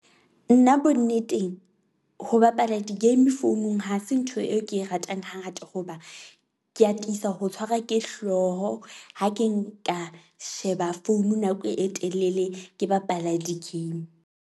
Nna bonneteng ho bapala di-game founung, ha se ntho eo ke e ratang ha ngata hoba ke atisa ho tshwarwa ke hlooho. Ha ke nka sheba founu nako e telele, ke bapala di-game.